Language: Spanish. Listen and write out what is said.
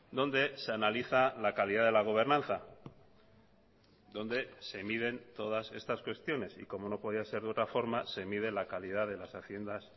donde se analiza la calidad de la gobernanza donde se miden todas estas cuestiones y como no podía ser de otra forma se mide la calidad de las haciendas